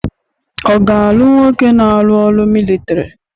Ọ ga-alụ n woke na-arụ ọrụ militọri?